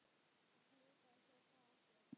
Hann smitaði svo frá sér.